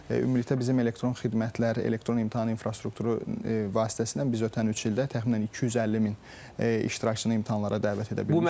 Ümumilikdə bizim elektron xidmətlər, elektron imtahan infrastrukturu vasitəsilə biz ötən üç ildə təxminən 250 min iştirakçını imtahanlara dəvət edə bilmişik.